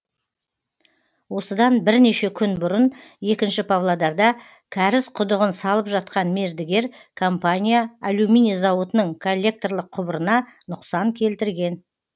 осыдан бірнеше күн бұрын екінші павлодарда кәріз құдығын салып жатқан мердігер компания алюминий зауытының коллекторлық құбырына нұқсан келтірген